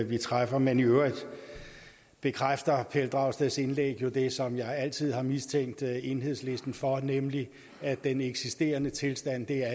vi træffer men i øvrigt bekræfter pelle dragsteds indlæg jo det som jeg altid har mistænkt enhedslisten for at mene nemlig at den eksisterende tilstand er